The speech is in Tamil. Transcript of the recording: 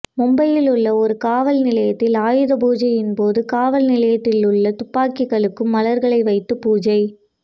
மும்பையிலுள்ள ஒரு காவல்நிலையத்தில் ஆயுதபூஜையின்போது காவல்நிலையத்திலுள்ள துப்பாக்கிகளுக்கும் மலர்களை வைத்து பூஜை